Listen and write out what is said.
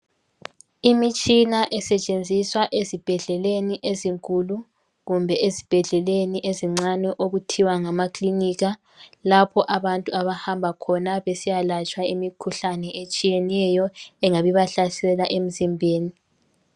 Fimitshina esetshenziswa ezibhedleleni ezinkulu kumbe ezibhedleleni ezincane okuthiwa ngamaklinika lapho abantu abahamb akhona besiyalatshwa imikhuhlane etshiyeneyo engabe ibahlasela emzimbeni